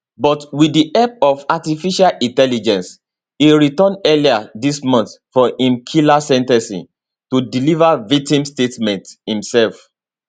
but wit di help of artificial intelligence e return earlier dis month for im killer sen ten cing to deliver victims statement imsef